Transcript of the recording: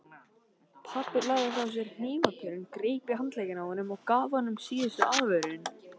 Pabbi lagði frá sér hnífapörin, greip í handlegginn á honum og gaf honum síðustu aðvörun.